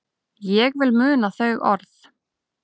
Ég vil muna þau orð.